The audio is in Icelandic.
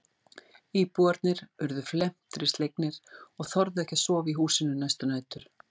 Íbúarnir urðu felmtri slegnir og þorðu ekki að sofa í húsinu næstu nætur.